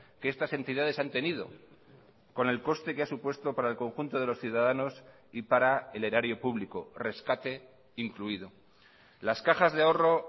que estas entidades han tenido con el coste que ha supuesto para el conjunto de los ciudadanos y para el erario público rescate incluido las cajas de ahorro